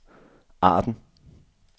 Arden